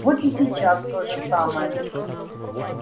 вот и сейчас то же самое